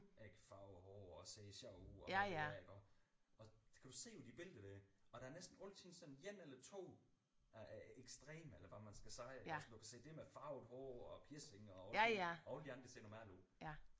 Ik farver hår og ser sjove ud og alt det der iggå og det kan du se på de billeder der iggå og der er altid sådan en eller 2 der er ekstreme eller hvad man skal sige iggås det er med farvet hår og piercinger og alle de andre ser normale ud